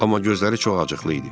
Amma gözləri çox acıqlı idi.